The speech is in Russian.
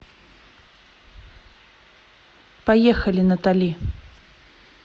поехали натали